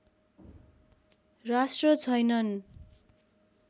राष्ट्र छैनन्